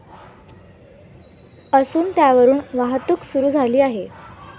असून, त्यावरून वाहतूक सुरू झाली आहे.